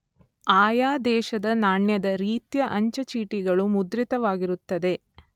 ಆಯಾ ದೇಶದ ನಾಣ್ಯದ ರೀತ್ಯಾ ಅಂಚೆ ಚೀಟಿಗಳು ಮುದ್ರಿತವಾಗಿರುತ್ತದೆ.